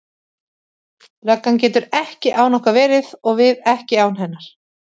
Löggan getur ekki án okkar verið og við ekki án hennar.